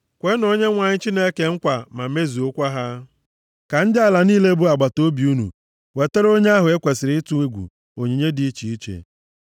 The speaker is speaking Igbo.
Kwenụ Onyenwe anyị Chineke nkwa ma mezuokwa ha; ka ndị ala niile bụ agbataobi unu wetara onye ahụ e kwesiri ịtụ egwu onyinye dị iche iche.